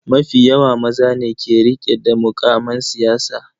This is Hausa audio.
Mafi yawa maza ne ke rike da mukaman siyasa.